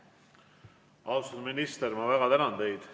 Austatud minister, ma väga tänan teid!